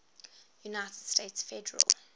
united states federal